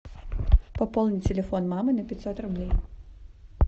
пополни телефон мамы на пятьсот рублей